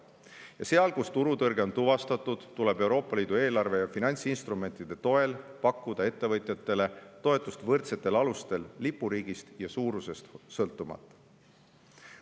Ja seal, kus turutõrge on tuvastatud, tuleb Euroopa Liidu eelarve ja finantsinstrumentide toel pakkuda ettevõtjatele toetust võrdsetel alustel, lipuriigist ja suurusest sõltumata.